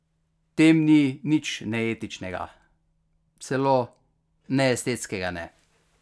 V tem ni nič neetičnega, celo neestetskega ne.